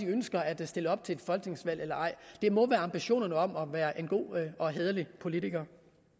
ønsker at stille op til et folketingsvalg eller ej det må være ambitionerne om at være en god og hæderlig politiker